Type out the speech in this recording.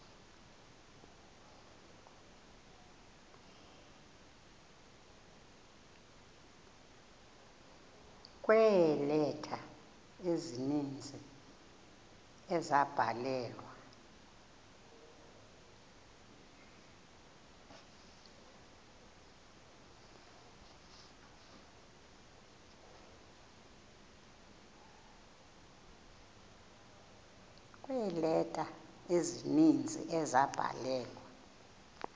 kweeleta ezininzi ezabhalelwa